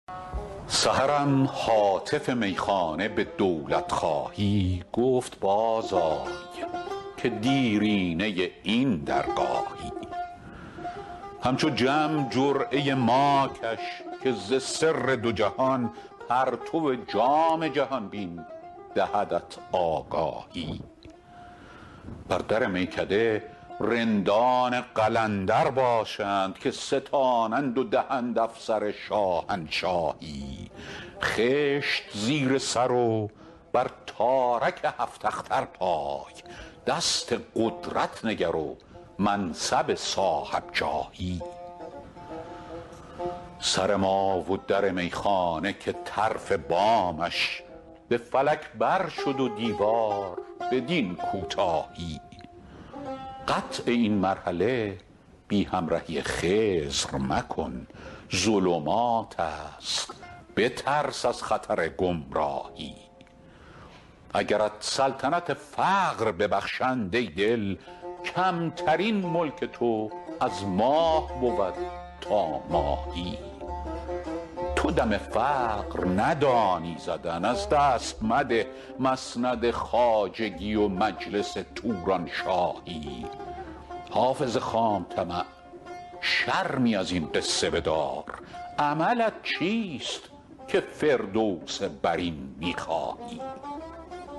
سحرم هاتف میخانه به دولت خواهی گفت باز آی که دیرینه این درگاهی همچو جم جرعه ما کش که ز سر دو جهان پرتو جام جهان بین دهدت آگاهی بر در میکده رندان قلندر باشند که ستانند و دهند افسر شاهنشاهی خشت زیر سر و بر تارک هفت اختر پای دست قدرت نگر و منصب صاحب جاهی سر ما و در میخانه که طرف بامش به فلک بر شد و دیوار بدین کوتاهی قطع این مرحله بی همرهی خضر مکن ظلمات است بترس از خطر گمراهی اگرت سلطنت فقر ببخشند ای دل کمترین ملک تو از ماه بود تا ماهی تو دم فقر ندانی زدن از دست مده مسند خواجگی و مجلس تورانشاهی حافظ خام طمع شرمی از این قصه بدار عملت چیست که فردوس برین می خواهی